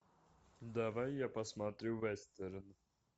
давай я посмотрю вестерн